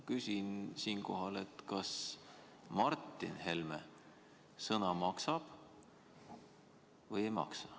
Küsin siinkohal, kas Martin Helme sõna maksab või ei maksa.